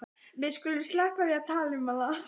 Við skulum sleppa því að tala um hana.